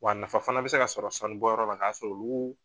Wa nafa fana bɛ se ka sɔrɔ sanubɔyɔrɔ la n'a sɔrɔ k'uu